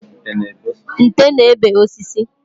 Nte na-ebe osisi